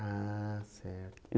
Ah, certo.